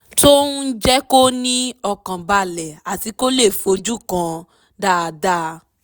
tó ń jẹ́ kó ní ọkàn balẹ̀ àti kó lè fojúkan dáadáa